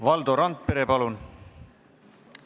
Valdo Randpere, palun!